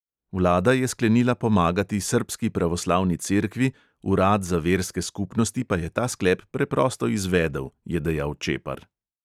Vlada je sklenila pomagati srbski pravoslavni cerkvi, urad za verske skupnosti pa je ta sklep preprosto izvedel, je dejal čepar.